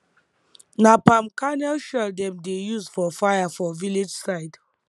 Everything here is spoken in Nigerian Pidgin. na palm kernel shell dem dey use for fire for village side